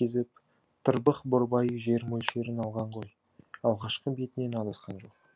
кезіп тырбық борбайы жер мөлшерін алған ғой алғашқы бетінен адасқан жоқ